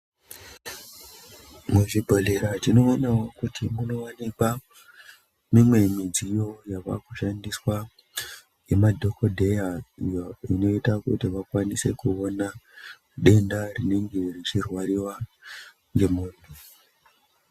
Muzvibhodhera tinoonawo kuti munowanikwa mimwe midziyo yavakushandiswa ngemadhokodheya iyo inoita kuti vakwanise kuona denda rinenge richirwariwa ngemuntu.